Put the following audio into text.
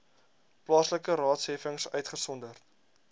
plaaslike raadsheffings uitgesonderd